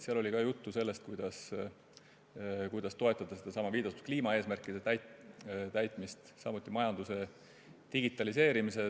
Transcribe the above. Seal oli juttu sellest, kuidas toetada kliimaeesmärkide täitmist, samuti majanduse digitaliseerimist.